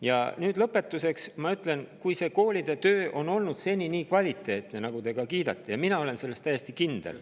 Ja lõpetuseks ma ütlen, et kui koolide töö on seni olnud nii kvaliteetne, nagu te kiidate, ja mina olen selles täiesti kindel …